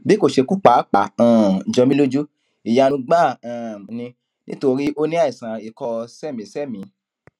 bí kò ṣe kú pàápàá um jọ mí lójú ìyanu gbáà um ni nítorí ó ní àìsàn ikọ séèémíséèémí